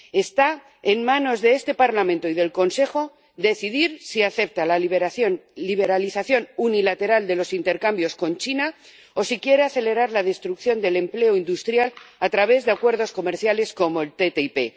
Está en manos de este Parlamento y del Consejo decidir si aceptan la liberalización unilateral de los intercambios con China o si quieren acelerar la destrucción del empleo industrial a través de acuerdos comerciales como el TTIP.